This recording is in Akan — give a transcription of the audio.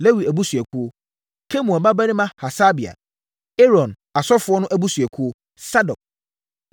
Lewi abusuakuo: Kemuel babarima Hasabia Aaron (asɔfoɔ no) abusuakuo: Sadok;